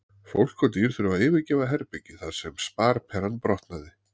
Fólk og dýr þurfa að yfirgefa herbergið þar sem sparperan brotnaði.